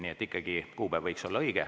Nii et ikkagi kuupäev võiks olla õige.